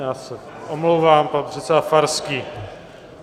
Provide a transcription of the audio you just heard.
Já se omlouvám, pan předseda Farský.